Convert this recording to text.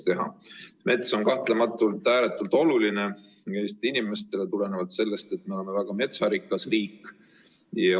Mets on Eesti inimestele kahtlematult ääretult oluline, tulenevalt sellest, et meil on väga metsarikas riik.